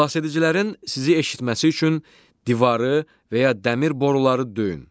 Xilasedicilərin sizi eşitməsi üçün divarı və ya dəmir boruları döyün.